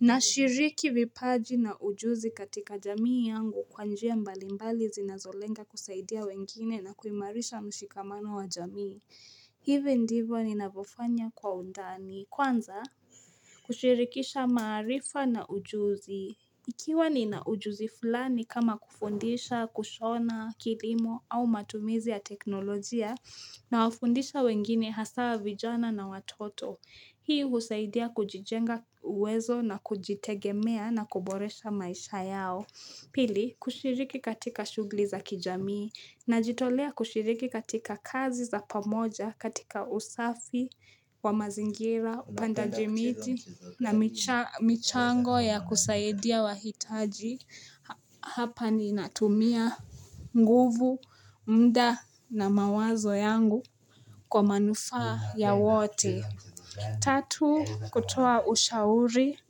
Nashiriki vipaji na ujuzi katika jamii yangu kwa njia mbali mbali zinazolenga kusaidia wengine na kuimarisha mshikamano wa jamii, hivi ndivyo ninavyofanya kwa undani kwanza kushirikisha maarifa na ujuzi. Ikiwa nina ujuzi fulani kama kufundisha, kushona, kilimo au matumizi ya teknolojia nawafundisha wengine haswa vijana na watoto. Hii husaidia kujijenga uwezo na kujitegemea na kuboresha maisha yao. Pili, kushiriki katika shughuli za kijamii najitolea kushiriki katika kazi za pamoja katika usafi wa mazingira, upandaji miti na michango ya kusaidia wahitaji. Hapa ninatumia nguvu, mda na mawazo yangu kwa manufaa ya wote. Tatu, kutoa ushauri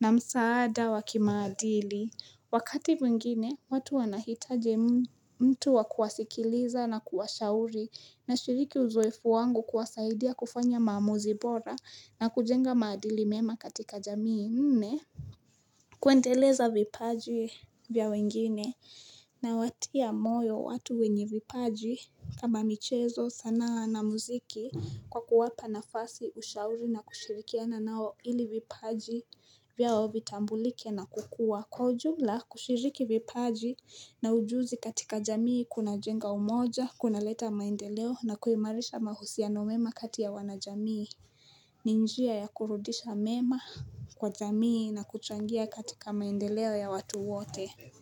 na msaada wa kimaadili Wakati mwingine, watu wanahitaji mtu wa kuwasikiliza na kuwashauri na shiriki uzoefu wangu kuwasaidia kufanya maamuzi bora na kujenga maadili mema katika jamii nne kuendeleza vipaji vya wengine na watia moyo watu wenye vipaji kama michezo sanaa na muziki kwa kuwapa nafasi ushauri na kushirikiana nao ili vipaji vyao vitambulike na kukua Kwa ujumla kushiriki vipaji na ujuzi katika jamii kunajenga umoja, kunaleta maendeleo na kuimarisha mahusiano mema katia wana jamii ni njia ya kurudisha mema kwa jamii na kuchangia katika maendeleo ya watu wote.